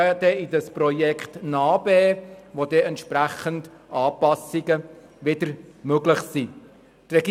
Asylbereich im Kanton Bern (NA-BE)», mit welchem entsprechende Anpassungen wieder möglich sein werden.